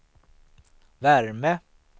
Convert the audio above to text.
värme